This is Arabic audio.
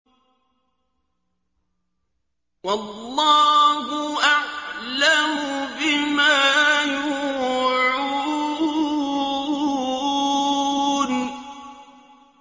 وَاللَّهُ أَعْلَمُ بِمَا يُوعُونَ